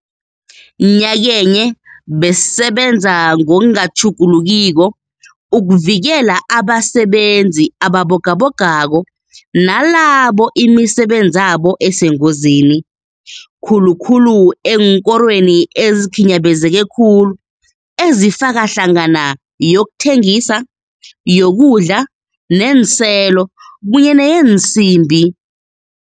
Nyakenye, besisebenza ngokungatjhugulukiko ukuvikela abasebenzi ababogabogako nalabo imisebenzabo esengozini, khulukhulu eenkorweni ezikhinyabezeke khulu ezifaka hlangana yokuthengisa, yokudla neenselo kunye neyeensimbi.